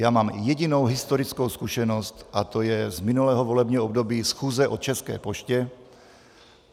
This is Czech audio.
Já mám jedinou historickou zkušenost, a to je z minulého volebního období, schůze o České poště.